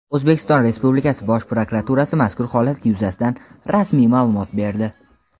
O‘zbekiston Respublikasi Bosh prokuraturasi mazkur holat yuzasidan rasmiy ma’lumot berdi.